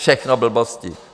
Všechno blbosti.